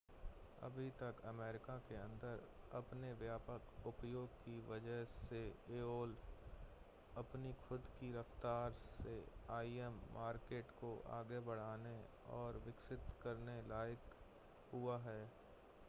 अभी तक अमेरिका के अंदर अपने व्यापक उपयोग की वजह से aol अपनी खुद की रफ़्तार से im मार्केट को आगे बढ़ाने और विकसित करने लायक हुआ है